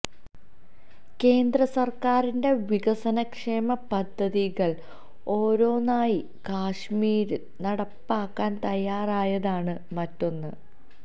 കേന്ദ്ര സര്ക്കാരിന്റെ വികസന ക്ഷേമ പദ്ധതികള് ഓരോന്നായി കശ്മീരില് നടപ്പാക്കാന് തയാറായതാണ് മറ്റൊന്ന്